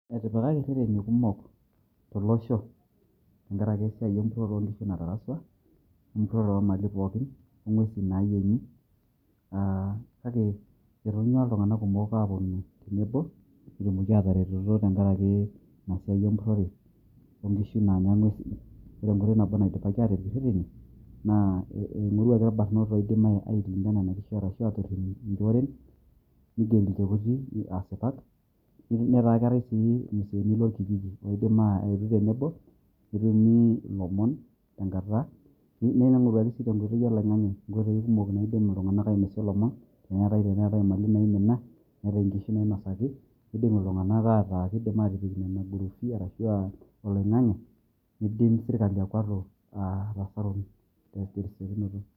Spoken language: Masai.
etipikaki ireteni kumok tolosho. tenkaraki esiai empurore oo ropiyiani natarasua we mpurore oo mali pookin, ong'uesi naayieng'i, kake etonyuaa iltung'anak kumok aapuonu tenebo pee etumoki aataretoto tenkaraki, ina siai empurore oo nkishu naanya ing'uesin. ore enkoitoi nabo naidipaki aatipikie ireteni naa ing'oruaki irbanot oidim aatorip ijorenm, neigeri ilchekuti asipat, netaa keetae si irmuseeni lorkijiji. oidim aayetu tenebo, netumi ilomon tenkata. neing'oruaki sii tenkoitoi oloing'ang'e, inkoitoi kumok naidim iltiung'anak ainosie ilomon, teneetae imali naaimina, neetae inkishu naainosaki, kidim iltung'anak aataa kidim aatijing' nena group arashu oloing'ang'e nidim sirkali akwatu atan'oro tesiokisiokinoto.